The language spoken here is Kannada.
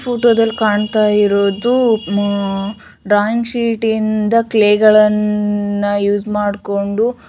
ಈ ಫೋಟೋದಲ್ಲಿ ಕಾಣ್ತಾ ಇರೋದು ಆಮ್ ಡ್ರಾಯಿಂಗ್ ಶೀಟ್ ಇಂದ ಕ್ಲೇಗಳನ್ನು ಯೂಸ್ ಮಾಡ್ಕೊಂಡು--